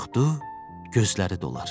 Qorxdu, gözləri dolar.